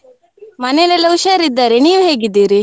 ಮನೆಯಲ್ಲೆಲ್ಲ ಹುಷಾರ್ ಇದ್ದಾರೆ, ನೀವ್ ಹೇಗಿದ್ದೀರಿ?